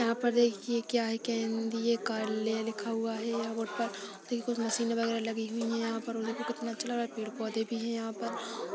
यहाँ पर देखिये क्या है के - केंद्रीय का- कार्यालय लिखा हुआ बोर्ड पर है मशीन वगेरा लगी हुई है पेड़ पौधे भी है यहाँ पर ।